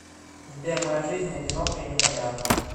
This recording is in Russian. сбер моя жизнь одинока и непонятна